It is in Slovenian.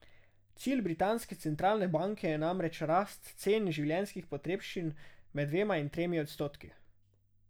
Cilj britanske centralne banke je namreč rast cen življenjskih potrebščin med dvema in tremi odstotki.